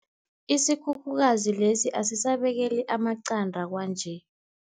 Isikhukhukazi lesi asisabekeli amaqanda kwanje.